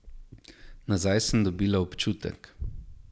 Nazaj sem dobila občutek.